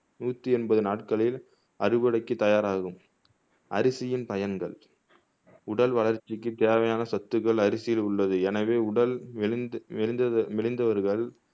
நூத்தி எண்பது நாட்களில் அறுவடைக்கு தயாராகும் அரிசியின் பயன்கள் உடல் வளர்ச்சிக்கு தேவையான சத்துக்கள் அரிசியில் உள்ளது எனவே உடல் மெலிந்த் மெலிந்தது மெலிந்தவர்கள்